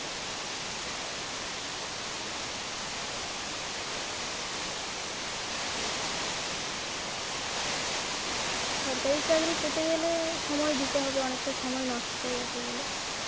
সরকারী চাকরি পেতে গেলে সময় দিতে হবে অনেকটা, অনেকটা সময় নষ্ট যাকে বলে